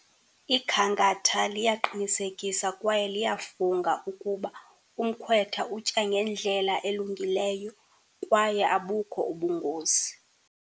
Ikhankatha liyaqinisekisa kwaye liyafunga ukuba umkhwetha utya ngendlela elungileyo kwaye abukho ubungozi.